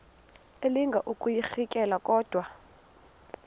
elinga ukuyirintyela kodwa